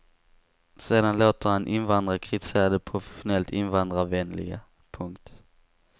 Sedan låter han invandrare kritisera de professionellt invandrarvänliga. punkt